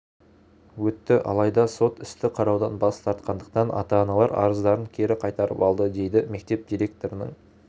өтті алайда сот істі қараудан бас тартқандықтан ата-аналар арыздарын кері қайтарып алды дейді мектеп директорының